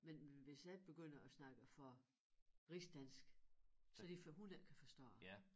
Men hvis jeg begynder at snakke for rigsdansk så lige før hun ikke kan forstå det